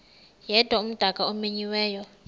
yedwa umdaka omenyiweyo